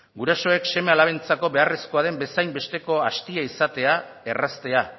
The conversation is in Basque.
gurasoek seme alabentzako beharrezkoa den bezainbesteko astia izatea erraztea